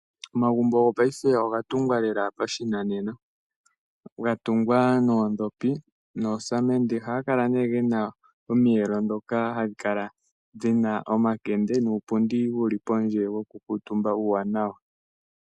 Omagumbo gopayife oga tungwa lela pashinanena, ga tungwa noodhopi, noosamende, ohaga kala nee gena omiyelo ndhoka hadhi kala dhina omakende, nuupundi wuli pondje woku kuutumba uuwanawa.